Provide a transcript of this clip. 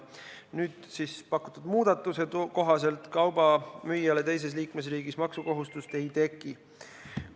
Nüüd pakutud muudatuse kohaselt kauba müüjale teises liikmesriigis maksukohustust ei teki.